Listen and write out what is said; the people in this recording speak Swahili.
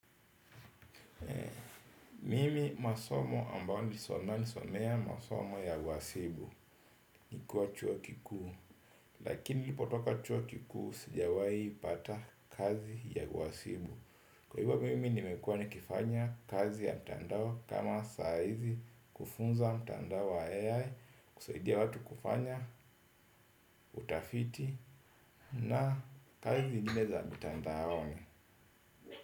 Mimi masomo ambayo sona nisomea masomo ya uhasibu. Nikuwa chuo kikuu. Lakini li potoka chuo kikuu sijawai pata kazi ya uhasibu. Kwa hivo mimi nimekuwa nikifanya kazi ya mtandao. Kama saa hizi kufunza mtandao wa AI Kusaidia watu kufanya, utafiti na kazi zingine za mitandaoni.